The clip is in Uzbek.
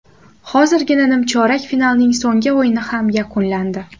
Hozirgina nimchorak finalning so‘nggi o‘yini ham yakunlandi.